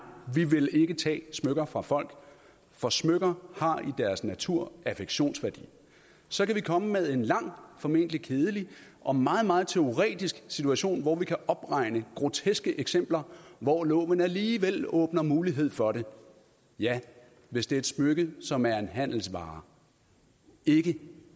vi vil ikke tage smykker fra folk for smykker har i deres natur affektionsværdi så kan vi komme med en lang formentlig kedelig og meget meget teoretisk situation hvor vi kan opregne groteske eksempler hvor loven alligevel åbner mulighed for det ja hvis det er et smykke som er en handelsvare ikke